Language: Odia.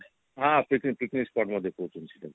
ହଁ picnic spot ମଧ୍ୟ କହୁଛନ୍ତି ସେଟାକୁ